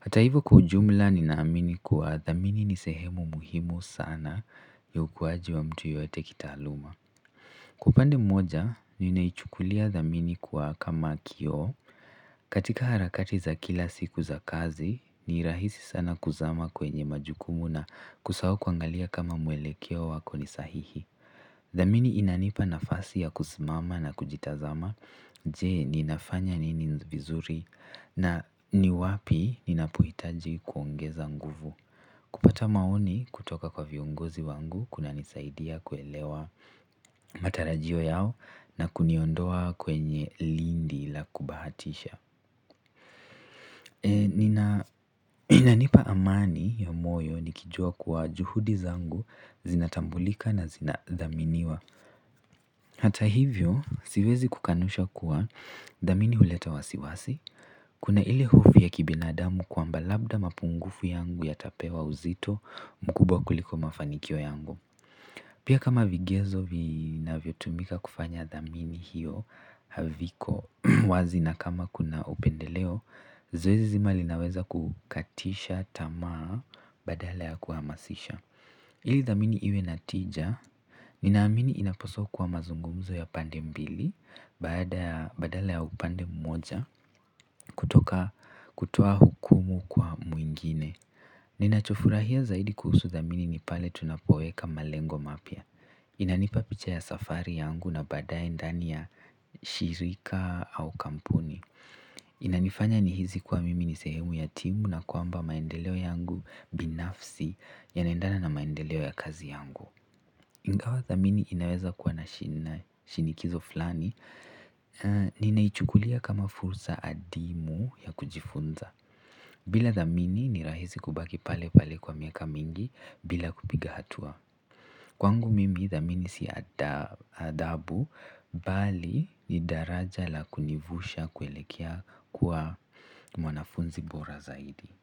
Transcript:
Hata hivo kwa ujumla ninaamini kuwa dhamini ni sehemu muhimu sana ya ukuwaji wa mtu yote kitaaluma. Upande moja ninaichukulia dhamini kama kioo katika harakati za kila siku za kazi, ni rahisi sana kuzama kwenye majukumu na kusahau kuangalia kama mwelekeo wako ni sahihi. Dhamini inanipa nafasi ya kusimama na kujitazama. Je ninafanya nini vizuri? Na ni wapi inapohitaji kuongeza nguvu kupata maoni kutoka kwa viongozi wangu kunanisaidia kuelewa matarajio yao na kuniondoa kwenye lindi la kubahatisha inanipa amani ya moyo nikijua kuwa juhudi zangu zinatambulika na zinadhaminiwa hata hivyo, siwezi kukanusha kuwa dhamini huleta wasiwasi kuna ile hofu ya kibinadamu kwamba labda mapungufu yangu yatapewa uzito mkubwa kuliko mafanikio yangu pia kama vigezo vinavyotumika kufanya dhamini hiyo haviko wazi na kama kuna upendeleo zoezi zima linaweza kukatisha tamaa badala ya kuhamasisha ili dhamini iwe na tija, ninaamini inapaswa kuwa mazungumzo ya pande mbili badala ya upande mmoja kutoka kutoa hukumu kwa mwingine. Ninachofurahia zaidi kuhusu dhamini ni pale tunapoweka malengo mapya. Inanipa picha ya safari yangu na baadaye ndani ya shirika au kampuni inanifanya nihisi kuwa mimi ni sehemu ya timu na kwamba maendeleo yangu binafsi yanaendana na maendeleo ya kazi yangu. Ingawa thamini inaweza kuwa na shinikizo fulani. Ninaichukulia kama fursa adimu ya kujifunza bila dhamini ni rahisi kubaki pale pale kwa miaka mingi bila kupiga hatua kwangu mimi dhamini si adhabu bali ni daraja la kunivusha kuelekea kuwa mwanafunzi bora zaidi.